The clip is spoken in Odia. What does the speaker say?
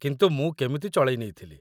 କିନ୍ତୁ ମୁଁ କେମିତି ଚଳେଇନେଇଥିଲି ।